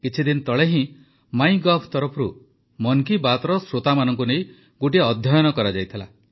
କିଛିଦିନ ତଳେ ହିଁ ମାଇଁଗଭ୍ ତରଫରୁ ମନ୍ କି ବାତ୍ର ଶ୍ରୋତାମାନଙ୍କୁ ନେଇ ଗୋଟିଏ ଅଧ୍ୟୟନ କରାଯାଇଥିଲା